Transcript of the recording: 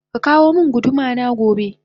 Kaka womin gudu mana gobe